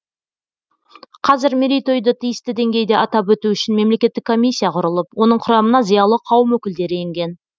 қазір мерейтойды тиісті деңгейде атап өту үшін мемлекеттік комиссия құрылып оның құрамына зиялы қауым өкілдері енген